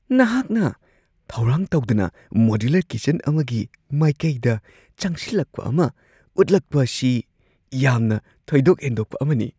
ꯅꯍꯥꯛꯅ ꯊꯧꯔꯥꯡ ꯇꯧꯗꯅ ꯃꯣꯗꯨꯂꯔ ꯀꯤꯆꯟ ꯑꯃꯒꯤ ꯃꯥꯏꯀꯩꯗ ꯆꯪꯁꯤꯜꯂꯛꯄ ꯑꯃ ꯎꯠꯂꯛꯄꯁꯤ ꯌꯥꯝꯅ ꯊꯣꯏꯗꯣꯛ ꯍꯦꯟꯗꯣꯛꯄ ꯑꯃꯅꯤ ꯫